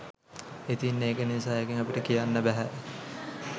ඉතින් ඒක නිසා එකෙන් අපිට කියන්න බැහැ